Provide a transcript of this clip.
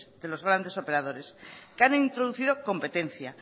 de los grandes operadores que han introducido competencia